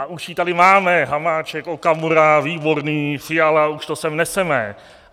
A už ji tady máme - Hamáček, Okamura, Výborný, Fiala, už to sem neseme.